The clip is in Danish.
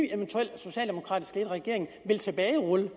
socialdemokratisk ledet regering vil tilbagerulle